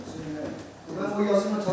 Mən bu yazını tanımıram.